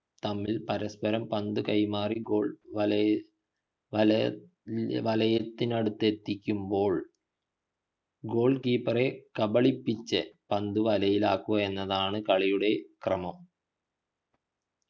തമ്മിൽ പരസ്പരം പന്തു കൈമാറി goal വലയിൽ വലയത്തിനടുത്തെത്തിക്കുമ്പോൾ goal keeper കബളിപ്പിച്ചു പന്ത് വലയിലാക്കുക എന്നതാണ് കളിയുടെ ക്രമം